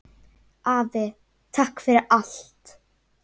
Afi, takk fyrir allt!